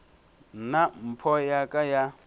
nna mpho ya ka ya